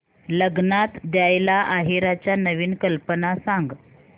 लग्नात द्यायला आहेराच्या नवीन कल्पना सांग